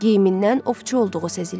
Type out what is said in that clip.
Geyimindən ovçu olduğu sezilirdi.